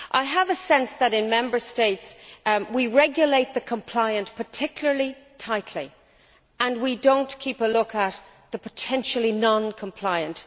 I have a sense that, in Member States, we regulate the compliant particularly tightly and we do not keep a lookout for the potentially non compliant.